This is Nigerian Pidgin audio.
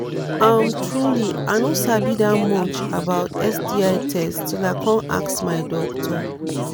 umtruely i no sabi that much about sti test till i come ask my doctor